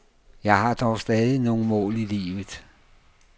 Jeg har dog stadig nogle mål i livet.